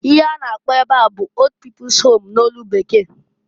Ihe a na-akpọ ebe a bụ old people's home n'olu Bekee.